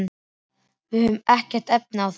Við höfum ekkert efni á því.